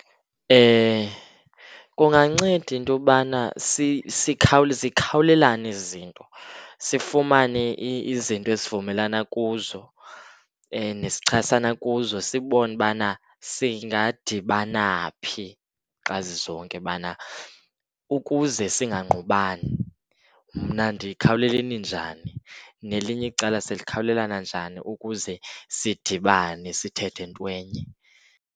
Kunganceda into yobana zikhawulelane ezi zinto, sifumane izinto esivumelana kuzo nesichasana kuzo sibone ubana singadibana phi xa zizonke, ubana ukuze singangqubani. Mna ndikhawuleleni njani, nelinye icala silikhawulela njani ukuze sidibane sithethe intwenye.